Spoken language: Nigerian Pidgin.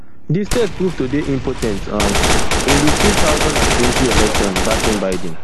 di state prove to dey impor ten t um in di two thousand and twenty election backing biden